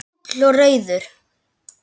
Ég er fúll og reiður.